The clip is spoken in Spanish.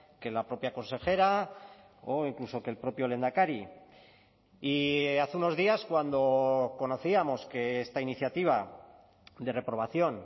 que la propia consejera o incluso que el propio lehendakari y hace unos días cuando conocíamos que esta iniciativa de reprobación